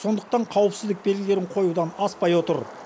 сондықтан қауіпсіздік белгілерін қоюдан аспай отыр